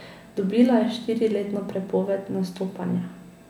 Dobila je štiriletno prepoved nastopanja.